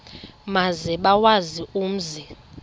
maze bawazi umzi